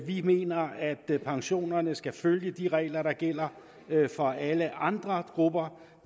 vi mener at pensionerne skal følge de regler der gælder for alle andre grupper